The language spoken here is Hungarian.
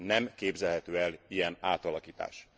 Nem képzelhető el ilyen átalakítás.